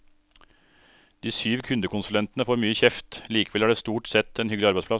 De syv kundekonsulentene får mye kjeft, likevel er det stort sett en hyggelig arbeidsplass.